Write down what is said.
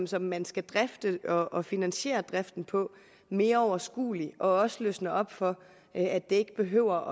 som man skal drifte og finansiere driften på mere overskuelig og også løsner op for at det ikke behøver